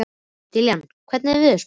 Dallilja, hvernig er veðurspáin?